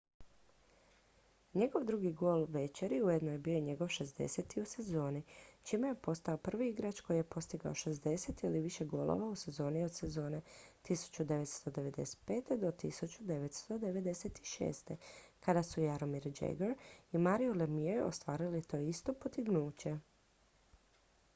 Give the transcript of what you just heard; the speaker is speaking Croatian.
njegov drugi gol večeri ujedno je bio i njegov 60. u sezoni čime je postao prvi igrač koji je postigao 60 ili više golova u sezoni od sezone 1995./1996. kada su jaromir jagr i mario lemieux ostvarili to isto postignuće